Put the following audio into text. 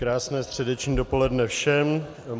Krásné středeční dopoledne všem.